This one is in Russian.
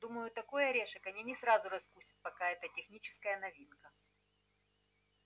думаю такой орешек они не сразу раскусят пока это техническая новинка